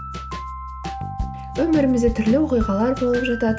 өмірімізде түрлі оқиғалар болып жатады